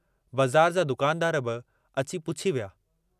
ओड़े पाड़े वारा हालु चालु पुछण आया।